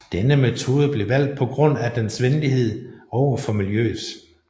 Denne metode blev valgt på grund af dens venlighed over for miljøet